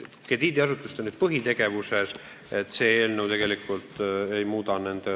Krediidiasutuste põhitegevuses nende positsioon selle eelnõu kohaselt ei muutu.